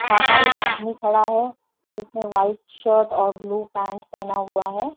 बाहर एक आदमी खड़ा है जिसने वाइट शर्ट और ब्लू पैंट पहना हुआ है।